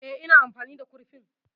Eh, ina amfani da kurfin